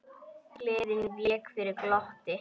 Gleðin vék fyrir glotti.